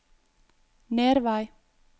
Nervei